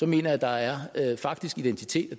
mener jeg der er faktisk identitet